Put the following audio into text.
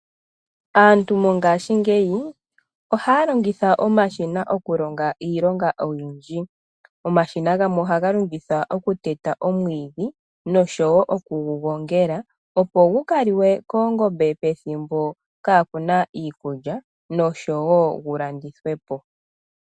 Aantu mongashingeyi ohaya longitha omashina okulonga iilonga oyindji. Omashina gamwe ohaga longithwa okuteta omwiidhi nosho wo oku gu gongela, opo gu ka liwe koongombe pethimbo kaa ku na iikulya nosho wo gu landithwe po.